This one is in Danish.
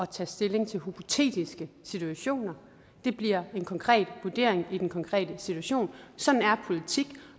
tage stilling til hypotetiske situationer det bliver en konkret vurdering i den konkrete situation sådan er politik